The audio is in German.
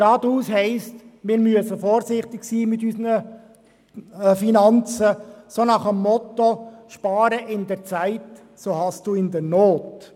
Geradeaus heisst, wir müssen vorsichtig sein mit unseren Finanzen, nach dem Motto: «Spare in der Zeit, so hast du in der Not.».